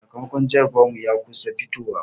Sakamakon jarabawar mu ya kusa fitowa.